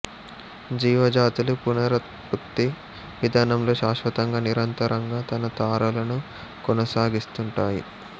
జీవ జాతులు పునరుత్పత్తి విధానంలో శాశ్వతంగా నిరంతరంగా తన తరాలను కొనసాగిస్తుంటాయి